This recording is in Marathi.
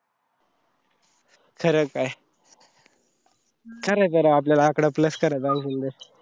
खरं काए? खरं खरं आपल्याला आकडा plus करायचा अजून.